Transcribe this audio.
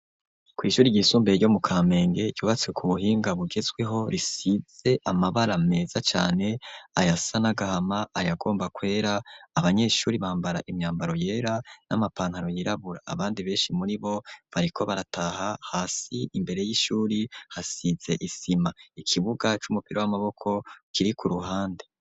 ku ishuri ry'isumbeye ryo mu kampenge yubatse ku buhinga bugezweho risidze amabara meza cyane aya sa nagahama ariagomba kwera abanyeshuri bambara imyambaro yera n'amapantaro yirabura abandi benshi muri bo bariko barataha hasi imbere y'ishuri hasidze isima ikibuga c'umupira w'amaboko kiri ku ruhande